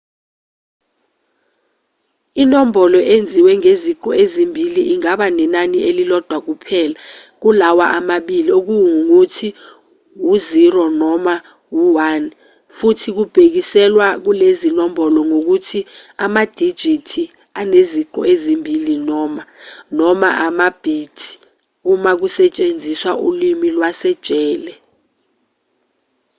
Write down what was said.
inombolo enziwe ngeziqu ezimbili ingaba nenani elilodwa kuphela kulawa amabili okungukuthi u-0 noma u-1 futhi kubhekiselwa kulezinombolo ngokuthi amadijithi aneziqu ezimbili noma noma ama-bit uma kusetshenziswa ulimi lwasejele